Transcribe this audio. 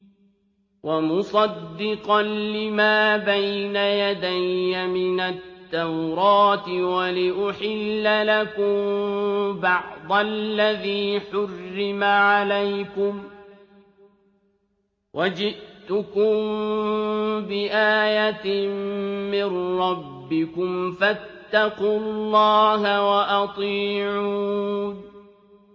وَمُصَدِّقًا لِّمَا بَيْنَ يَدَيَّ مِنَ التَّوْرَاةِ وَلِأُحِلَّ لَكُم بَعْضَ الَّذِي حُرِّمَ عَلَيْكُمْ ۚ وَجِئْتُكُم بِآيَةٍ مِّن رَّبِّكُمْ فَاتَّقُوا اللَّهَ وَأَطِيعُونِ